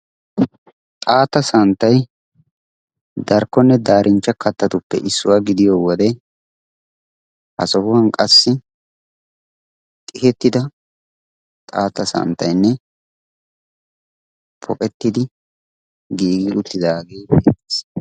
Xaatta santtay darokkonne darinchcha kattatuppe issuwaa gidiyoo wode ha sohuwaan qassi xihettida xaatta santtayinne pogettidi giigi uttidagee beettees.